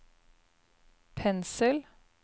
pensel